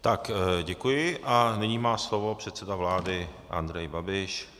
Tak děkuji a nyní má slovo předseda vlády Andrej Babiš.